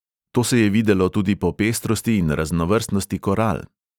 To se je videlo tudi po pestrosti in raznovrstnosti koral.